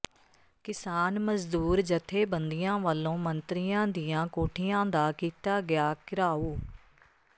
ਕਿਸਾਨ ਮਜ਼ਦੂਰ ਜਥੇਬੰਦੀਆਂ ਵਲੋਂ ਮੰਤਰੀਆਂ ਦੀਆਂ ਕੋਠੀਆਂ ਦਾ ਕੀਤਾ ਗਿਆ ਘਿਰਾਓ